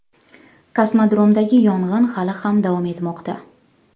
Kosmodromdagi yong‘in hali ham davom etmoqda.